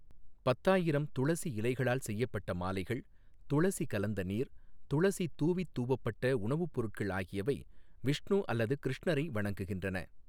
பத்தாயிரம் துளசி இலைகளால் செய்யப்பட்ட மாலைகள், துளசி கலந்த நீர், துளசி தூவித் தூவப்பட்ட உணவுப் பொருட்கள் ஆகியவை விஷ்ணு அல்லது கிருஷ்ணரை வணங்குகின்றன.